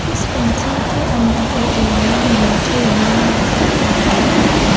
इस फेंसिंग के अंदर एक लायन बैठे हुए नजर आ रहा है।